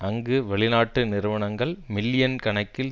அங்கு வெளிநாட்டு நிறுவனங்கள் மில்லியன் கணக்கில்